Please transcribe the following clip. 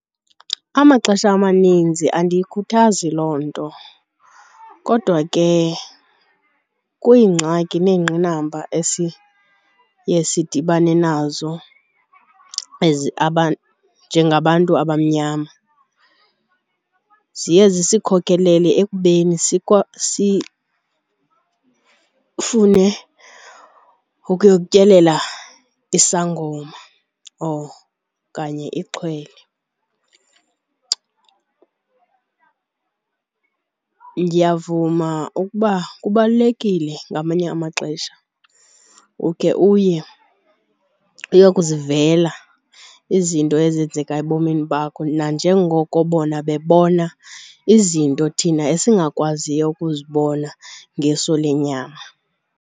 Amaxesha amaninzi andiyikhuthazi loo nto kodwa ke kwiingxaki neengqinamba esiye sidibane nazo njengabantu abamnyama ziye zisikhokhelele ekubeni sifune ukuyotyelela isangoma okanye ixhwele. Ndiyavuma ukuba kubalulekile ngamanye amaxesha ukhe uye uyokuzivela izinto ezenzeka ebomini bakho nanjengoko bona bebona izinto thina esingakwaziyo ukuzibona ngeso lenyama.